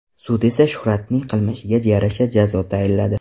Sud esa Shuhratning qilmishiga yarasha jazo tayinladi.